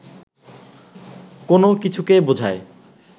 কো্নো কিছুকে বোঝায়